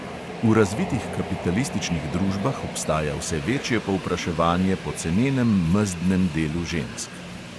V razvitih kapitalističnih družbah obstaja vse večje povpraševanje po cenenem mezdnem delu žensk.